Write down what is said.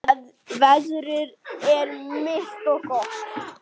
Veðrið er milt og gott.